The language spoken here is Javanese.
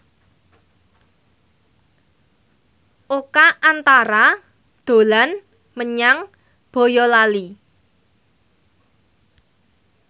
Oka Antara dolan menyang Boyolali